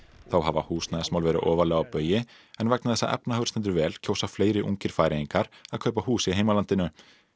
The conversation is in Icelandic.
þá hafa húsnæðismál verið ofarlega á baugi en vegna þess að efnahagur stendur vel kjósa fleiri ungir Færeyingar að kaupa hús í heimalandinu